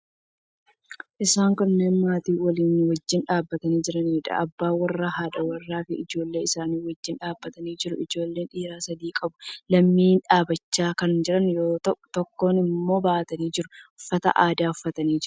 Isaan kunneen maatii walii wajjin dhaabbatanii jiraniidha. Abbaa warraa, haadha warraafi ijoollee isaanii wajjin dhaabbatanii jiru. Ijoollee dhiiraa sadii qabu. Lamni dhaabbachaa kan jiran yoo ta'u, tokko immoo baatanii jiru. Uffata aadaa uffatanii jiru.